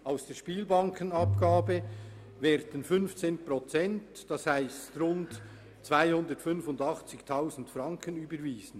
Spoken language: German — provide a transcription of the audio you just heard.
Aus der Spielbankenabgabe werden 15 Prozent, das heisst rund 285 000 Franken überwiesen.